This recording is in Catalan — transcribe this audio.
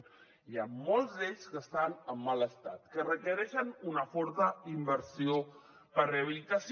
n’hi han molts d’ells que estan en mal estat que requereixen una forta inversió per a rehabilitació